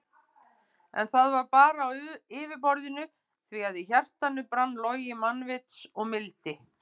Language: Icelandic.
En það var bara á yfirborðinu því að í hjartanu brann logi mannvits og mildi.